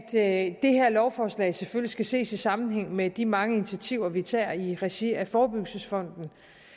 at det her lovforslag selvfølgelig skal ses i sammenhæng med de mange initiativer vi tager i regi af forebyggelsesfonden